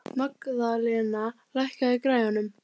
Hann veltir jafnoft vöngum yfir þjóðfélaginu og réttlæti heimsins.